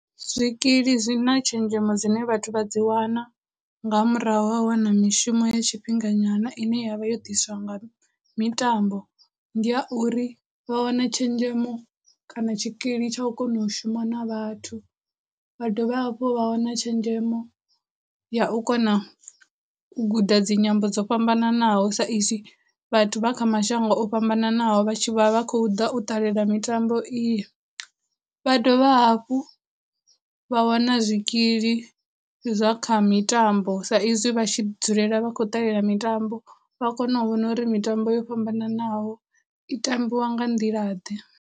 Zwikili zwi na tshenzhemo dzine vhathu vha dzi wana nga murahu ha u wana mishumo ya tshifhinga nyana ine ya vha yo ḓiswa nga mitambo ndi ya uri, vha wana tshenzhemo kana tshikili tsha u kona u shuma na vhathu, vha dovha hafhu vha wana tshenzhemo ya u kona u guda dzinyambo dzo fhambananaho sa izwi vhathu vha kha mashango o fhambananaho vha vha vha khou ḓa u ṱalela mitambo iyo, vha dovha hafhu vha wana zwikili zwa kha mitambo sa izwi vha tshi dzulela vha khou ṱalela mitambo vha kona u vhona uri mitambo yo fhambananaho i tambiwa nga nḓila ḓe.